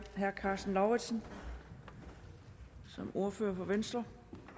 herre karsten lauritzen som ordfører for venstre